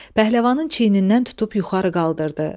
Pəhləvanın çiynindən tutub yuxarı qaldırdı.